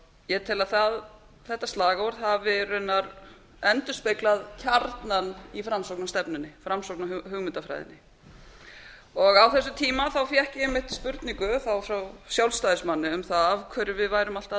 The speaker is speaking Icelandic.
ég tel að þetta slagorð hafi raunar endurspeglað kjarnann í framsóknarstefnunni framsóknarhugmyndafræði á þessum tíma fékk ég einmitt spurningu þá frá sjálfstæðismanni um það af hverju væri værum alltaf að